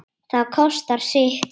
Það kostar sitt.